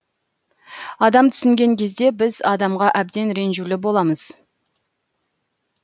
адам түсінген кезде біз адамға әбден ренжулі боламыз